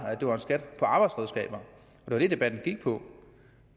at det var en skat på arbejdsredskaber det var det debatten gik på